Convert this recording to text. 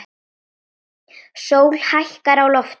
Sól hækkar á lofti.